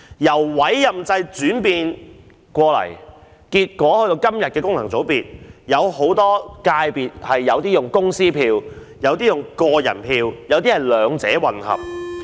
由委任制轉到今天的功能界別，有些界別用公司票，有些用個人票，亦有些是兩者混合。